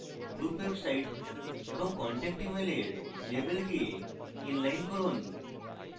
group website এবং contact email এর label কে inline করুন